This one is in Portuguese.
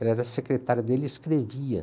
Ela era secretária dele e escrevia.